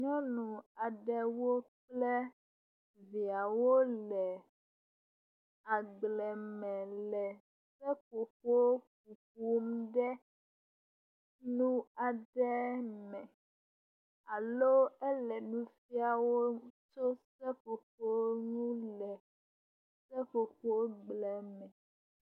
Nyɔnu aɖewo kple viawo le agble me le seƒoƒo hom ɖe nu aɖe me aloe le nu fiawo tso seƒoƒo ŋu le seƒoƒogbleme.